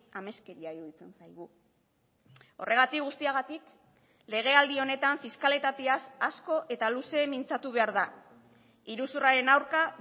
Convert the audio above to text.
ameskeria iruditzen zaigu horregatik guztiagatik legealdi honetan fiskalitateaz asko eta luze mintzatu behar da iruzurraren aurka